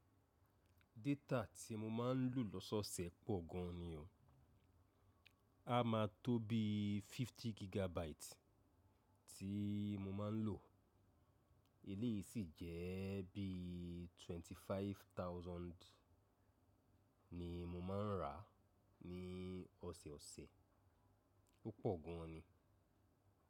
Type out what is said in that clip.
Data tí mo máa ń lò lọ́sọ̀ọ̀sẹ̀ pọ̀ gan ni o. A máa tó bí 50 gigabyte tí mo máa ń lò. Eléyìí sì jẹ́ bí 25,000 ni mo máa ń rà ní ọ̀sẹ̀ẹ̀ ọ̀sẹ̀. Ó pọ̀ gan ni.